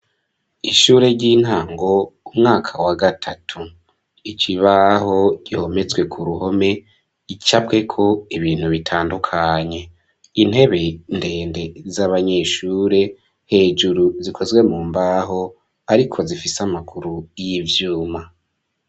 Ishure ry'intango umwaka wa gatatu, ikibaho gihometswe ku ruhome, gicabweko ibintu bitandukanye, intebe ndende z'abanyeshure, hejuru zikozwe mu mbaho ariko zifise amaguru y'ivyuma.